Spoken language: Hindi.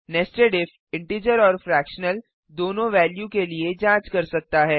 नेस्टेड इफ इंटिजर और फ्रैक्शनल दोनों वेल्यू के लिए जांच कर सकता है